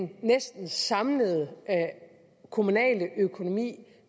den næsten samlede kommunale økonomi